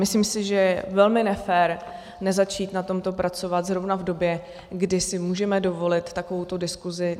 Myslím si, že je velmi nefér nezačít na tomto pracovat zrovna v době, kdy si můžeme dovolit takovouto diskusi.